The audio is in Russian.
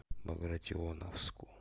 багратионовску